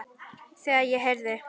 Þegar ég heyrði